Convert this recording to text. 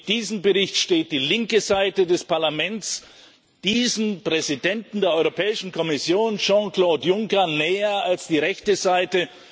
Mit diesem Bericht steht die linke Seite des Parlaments diesem Präsidenten der Europäischen Kommission, Jean Claude Juncker, näher als die rechte Seite.